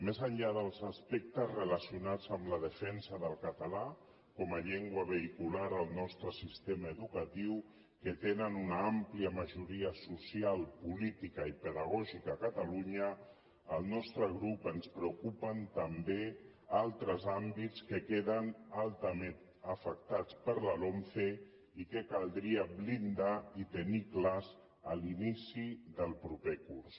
més enllà dels aspectes relacionats amb la defensa del català com a llengua vehicular al nostre sistema educatiu que tenen una àmplia majoria social política i pedagògica a catalunya al nostre grup ens preocupen també altres àmbits que queden altament afectats per la lomce i que caldria blindar i tenir clars a l’inici del proper curs